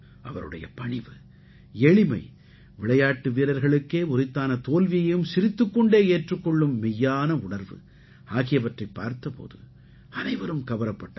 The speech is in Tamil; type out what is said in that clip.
அவருடைய பணிவு எளிமை விளையாட்டு வீர்ர்களுக்கே உரித்தான தோல்வியையும் சிரித்துக் கொண்டே ஏற்றுக் கொள்ளும் மெய்யான உணர்வு ஆகியவற்றைப் பார்த்த போது அனைவரும் கவரப்பட்டார்கள்